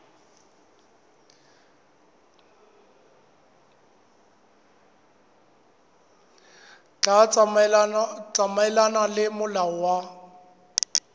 tla tsamaelana le molao wa